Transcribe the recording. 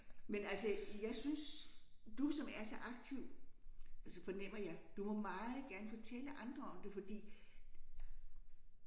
Men altså jeg synes du som er så aktiv altså fornemmer jeg du må meget gerne fortælle andre om det fordi